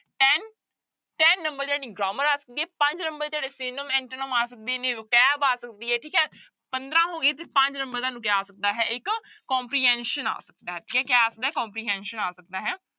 Ten number grammar ਆ ਸਕਦੀ ਹੈ ਪੰਜ number ਤੁਹਾਡੇ synonym, antonym ਆ ਸਕਦੇ ਨੇ vocabulary ਆ ਸਕਦੀ ਹੈ ਠੀਕ ਹੈ, ਪੰਦਰਾਂ ਹੋ ਗਏ ਤੇ ਪੰਜ number ਤੁਹਾਨੂੰ ਕਿਆ ਆ ਸਕਦਾ ਹੈ ਇੱਕ comprehension ਆ ਸਕਦਾ ਹੈ comprehension ਆ ਸਕਦਾ ਹੈ।